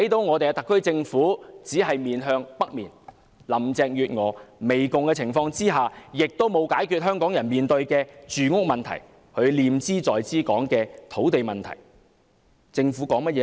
我們看到特區政府只是面向北面，而在林鄭月娥媚共的情況下，香港人面對的住屋問題，就是她念茲在茲說的土地問題並無得到解決。